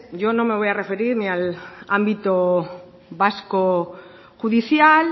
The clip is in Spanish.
yo no me voy a referir ni al ámbito vasco judicial